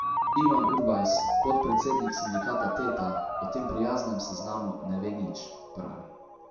Ivan Urbajs, podpredsednik sindikata Teta, o tem prijaznem seznamu ne ve nič, pravi.